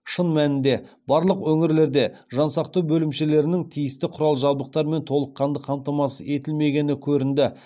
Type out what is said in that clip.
шын мәнінде барлық өңірлерде жан сақтау бөлімшелерінің тиісті құрал жабдықтармен толыққанды қамтамасыз етілмегені көрінді